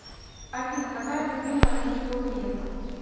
афина какая любимая книга у грефа